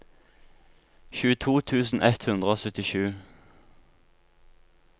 tjueto tusen ett hundre og syttisju